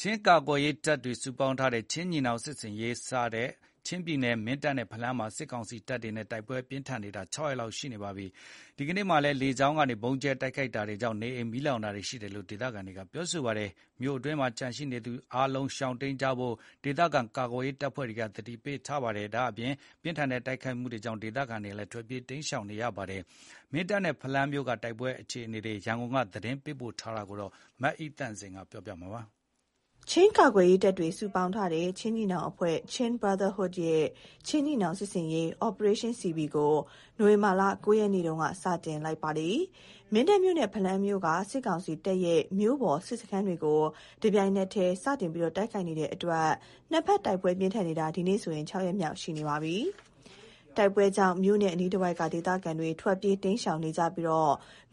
ချင်းကာကွယ်ရေးတပ်တွေ စုပေါင်းထားတဲ့ ချင်းညီနောင်စစ်ဆင်ရေး စတင်နေတဲ့ ချင်းပြည်နယ် မင်းတပ်နဲ့ ဖလမ်းမြို့တွေမှာ စစ်ကောင်စီနဲ့ ချင်းညီနောင်အဖွဲ့ ကြား တိုက်ပွဲပိုပြီးပြင်းထန်လာနေတာ ၆ ရက်ရှိလာပါပြီ။ ဒီကနေ့မှာလည်းလေကြောင်းကနေ ဗုံးကြဲတိုက်ခိုက်တာနဲ့ နေအိမ်မီးလောင်တာတွေ ရှိနေတယ်လို့ ဒေသခံတွေက ပြောပါတယ်။ မြို့အတွင်းမှာ ကျန်နေသူအားလုံး ရှောင်တိမ်းကြဖို့ကို ဒေသခံကာကွယ်ရေးအဖွဲ့တွေက သတိပေးလိုက်တာကြောင့်ရောပြင်းထန်လာတဲ့ တိုက်ပွဲကြောင့် ဒေသခံတွေဟာ ထွက်ပြေးတိမ်းရှောင်နေကြရပါတယ်။ မင်းတပ်နဲ့ ဖလမ်းမြို့က တိုက်ပွဲအခြေအနေ ရန်ကုန်ကနေ သတင်းပေးပို့ထားပါတယ်။ ချင်းကာကွယ်ရေးတပ်တွေ စုပေါင်းထားတဲ့ ချင်းညီနောင်အဖွဲ့ ရဲ့ "ချင်းညီနောင် စစ်ဆင်ရေး" ကို နိုဝင်ဘာလ ၉ ရက်နေ့က စတင်လိုက်တာဖြစ်ပါတယ်။ မင်းတပ်မြို့နဲ့ ဖလမ်းမြို့က စစ်ကောင်စီတပ်ရဲ့ မြို့ပေါ် စစ်စခန်းတွေကို တပြိုင်တည်း စတင်တိုက်ခိုက်နေတာကြောင့် နှစ်ဘက်တိုက်ပွဲပြင်းထန်နေတာ ဒီကနေ့နဲ့ဆို၆ ရက်မြောက် ရှိလာပါပြီ။ တိုက်ပွဲကြောင့် မြို့နဲ့ အနီးတဝိုက်က ဒေသခံတွေ ထွက်ပြေးတိမ်းရှောင်နေကြပြီး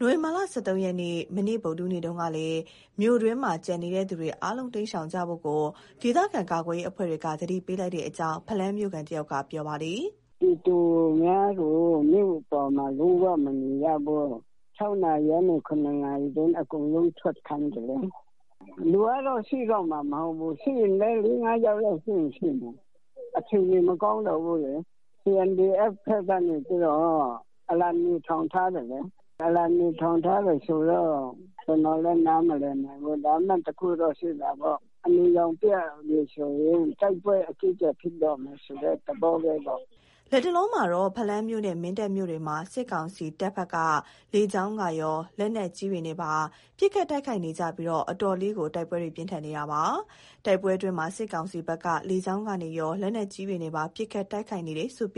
နိုဝင်ဘာလ ၁၃ ရက်၊ မနေ့ ဗုဒ္ဓဟူးနေ့မှာလည်း မြို့အတွင်းမှာ ကျန်ရှိနေသူအားလုံး ရှောင်တိမ်းကြဖို့ ဒေသခံကာကွယ်ရေးအဖွဲ့တွေက သတိပေးလိုက်တယ်လို့ ဖလမ်းမြို့ခံတဦးက ပြောပါတယ်။ "ပြည်သူအများကို မြို့ပေါ်မှာ လုံးဝမမြင်ရဘူး။ ၆ နာရီကနေ ၇ နာရီအတွင်း အကုန်လုံးထွက်ခိုင်းတယ် လေ။ လူကတော့ ရှိတော့မှာမဟုတ်ဘူး။ ရှိရင်လည်း ၄-၅ ယောက်လောက်ရှိမှာ။ အခြေအနေ မကောင်းတော့ဘူးလေ။ CNDF ဘက်ကနေပြီးတော့ အလံနီထောင်ထားတယ်လေ။ အလံနီထောင် ထားတယ် ဆိုတော့ ကျနော်တို့လည်း နားမလည်နိုင်ဘူး။ ဒါပေမဲ့ တခုတော့ရှိတာပေါ့၊ အနီရောင်ပြတယ် ဆိုရင် တိုက်ပွဲအကြီးအကျယ် ဖြစ်တော့မယ်ဆိုတဲ့ သဘောပဲပေါ့။" လတ်တလောမှာတော့ ဖလမ်းမြို့နဲ့ မင်းတပ်မြို့တွေမှာ စစ်ကောင်စီတပ်ဘက်က လေကြောင်းကရော လက်နက်ကြီးတွေနဲ့ပါပစ်ခတ်တိုက်ခိုက်နေကြပြီး အတော်လေးကို တိုက်ပွဲတွေပြင်းထန်နေပါတယ်။ တိုက်ပွဲအတွင်းမှာ စစ်ကောင်စီဘက်က လေကြောင်းကနေရော လက်နက်ကြီးတွေနဲ့ပါ ပစ်ခတ် တိုက်ခိုက်နေတယ်လို့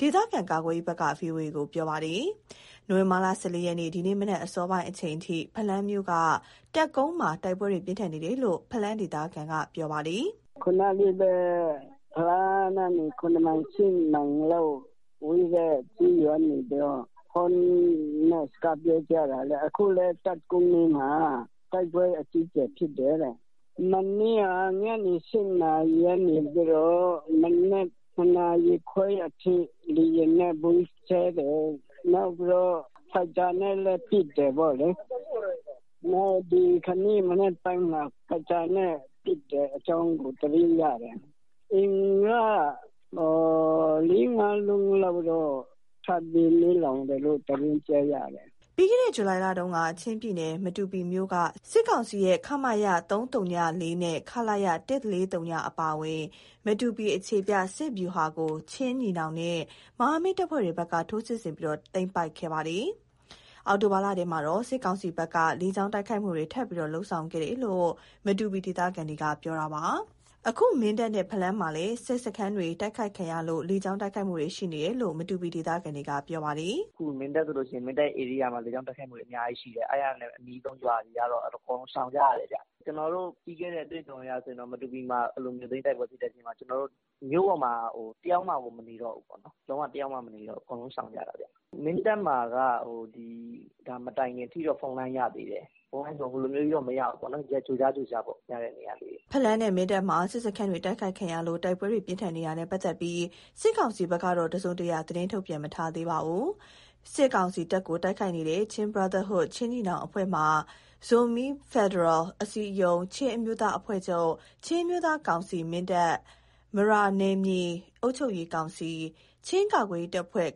ဒေသခံကာကွယ်ရေးဘက်က ဗွီအိုအေကို ပြောပါတယ်။ နိုဝင်ဘာလ ၁၄ ရက်၊ ဒီကနေ့မနက် အစောပိုင်းအချိန်အထိ ဖလမ်းမြို့က တပ်ကုန်းမှာ တိုက်ပွဲတွေပြင်းထန်နေတယ်လို့ဖလမ်းဒေသခံက ပြောပါတယ်။ "ဖလမ်းကနေ ၇ မိုင်၊ ၈ မိုင်လောက်ဝေးတဲ့ကျေးရွာကနေပြီးတော့ ခုနလေးပဲ ဖုန်းနဲ့ စကားပြောကြတာလေ။ အခုလည်းတပ်ကုန်းမှာ တိုက်ပွဲအကြီးအကျယ်ဖြစ်တယ်တဲ့။ မနေ့က ည ၈ နာရီကနေပြီးတော့ မနက် ၇ နာရီခွဲအထိ လေယာဉ်နဲ့ဗုံးကြဲတယ်။ နောက်ပြီးတော့ ဒီနေ့မနက်ပိုင်းမှာ ဖိုက်တာနဲ့လည်း ပစ်တယ်ပေါ့လေ။ အဲဒါတွေ သတင်းရတယ်။ အိမ်က၄-၅ လုံးလောက်တော့ ထပ်ပြီးမီးလောင်တယ်လို့ သတင်းကြားရတယ်။" ပြီးခဲ့တဲ့ ဇူလိုင်လတုန်းက ချင်းပြည်နယ်၊ မတူပီမြို့က စစ်ကောင်စီရဲ့ ခမရ ၃၀၄ နဲ့ ခလရ ၁၄၀ အပါအဝင် မတူပီအခြေချ စစ်ဗျူဟာကို ချင်းညီနောင်နဲ့ မဟာမိတ်တပ်ဖွဲ့တွေဘက်က ထိုးစစ်ဆင်ပြီး သိမ်းပိုက်ခဲ့ပါတယ်။ အောက်တိုဘာလထဲကတော့ စစ်ကောင်စီဘက်က လေကြောင်းတိုက်ခိုက်မှုတွေ ထပ်ပြီးလုပ်ခဲ့တယ်လို့ မတူပီဒေသခံတွေက ပြောပါတယ်။ အခု မင်းတပ်နဲ့ ဖလမ်းမှာလည်း စစ်စခန်းတွေ တိုက်ခိုက်ခံရလို့ လေကြောင်းတိုက်ခိုက်မှုတွေ ရှိနေတယ်လို့မတူပီဒေသခံက ပြောပါတယ်။ "အခု မင်းတပ်ဆိုရင် သူ့ဧရိယာမှာ လေကြောင်းတိုက်ခိုက်မှုတွေ အများကြီးရှိတယ်။ အဲဒါနဲ့ အနီးဆုံးရွာက လူတွေကတော့ အကုန်လုံး ရှောင်ကြရတယ်ဗျ။ ကျနော်တို့ ပြီးခဲ့တဲ့အတွေ့အကြုံ အရဆိုရင်တော့ မတူပီမှာ အဲလိုမြို့သိမ်းတိုက်ပွဲ ဖြစ်တဲ့အချိန်မှာ ကျနော်တို့ မြို့ပေါ်မှာတယောက်မှကို မနေတော့ဘူးပေါ့။ လုံးဝ တယောက်မှမနေဘဲအကုန်လုံးရှောင်ကြရတာဗျ။ မင်းတပ်မှာက ဒါ မတိုင်ခင်အထိတော့ ဖုန်းလိုင်းရသေးတယ်။ ဖုန်းလိုင်းဆိုတာ ဟိုလိုမျိုးတော့ မရဘူးပေါ့၊ ဒီအတိုင်း ကြိုကြားကြိုကြား ရတဲ့နေရာလေးတွေ ရှိတာပါ။" ဖလမ်းနဲ့ မင်းတပ်မှာ စစ်စခန်းတွေ တိုက်ခိုက်ခံရလို့ တိုက်ပွဲပြင်းထန်နေတာနဲ့ ပတ်သက်ပြီး စစ်ကောင်စီဘက်ကတော့တစုံတရာ သတင်းမထုတ်ပြန်သေးပါဘူး။ စစ်ကောင်စီတပ်ကို တိုက်ခိုက်နေတဲ့ ချင်းညီနောင် အဖွဲ့မှာ ဇိုမီးဖက်ဒရယ်အစည်းအရုံး၊ ချင်းအမျိုးသားအဖွဲ့ချုပ်၊ ချင်းအမျိုးသားကောင်စီ ၊ မရာနယ်မြေအုပ်ချုပ်ရေးကောင်စီ၊ ချင်းကာကွယ်ရေးတပ်ဖွဲ့